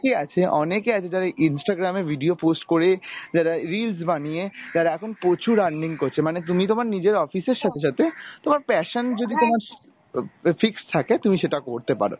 আছে অনেকে আছে যারা Instagram এ video post করে যারা reels বানিয়ে যারা এখন প্রচুর earning করছে মানে তুমি তোমার নিজের office এর সাথে সাথে কোন passion যদি তোমার fixed থাকে তুমি সেটা করতে পারো